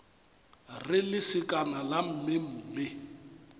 re lesekana la mme mme